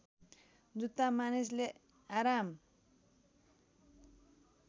जुत्ता मानिसले आराम